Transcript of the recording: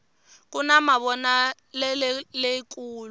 kuna mavonakuleleyi kulu